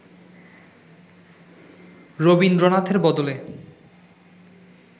রবীন্দ্রনাথের বদলে